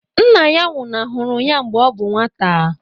Nna ya nwụnahụrụ ya mgbe ọ bụ nwata